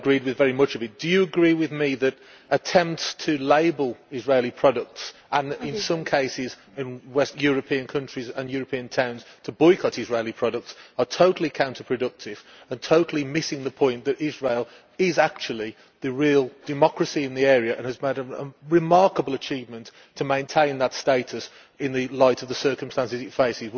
I agreed with very much of it. Do you agree with me that attempts to label Israeli products and, in some cases, for European countries and European towns to boycott Israeli products, are totally counterproductive and totally missing the point that Israel is actually the real democracy in the area and has made a remarkable achievement to maintain that status in the light of the circumstances it faces?